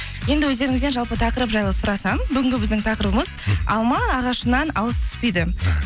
енді өздеріңізден жалпы тақырып жайлы сұрасам бүгінгі біздің тақырыбымыз алма ағашынан алыс түспейді